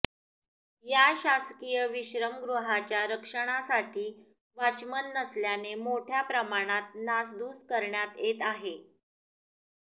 या शासकीय विश्रमगृहाच्या रक्षणासाठी वाचमन नसल्याने मोठ्या प्रमाणात नासधूस करण्यात येत आहे